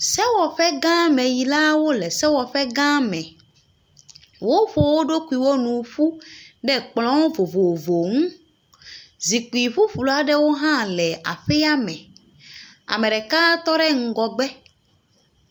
Sewɔgãmeyilawo le sewɔƒe gã me. Woƒo wo ɖokuiwo nu ƒu ɖe kplɔ vovovo ŋu. zikpui ƒuflu aɖewo hã le aƒea me. Ame ɖeka tɔ ɖe ŋgɔgbe.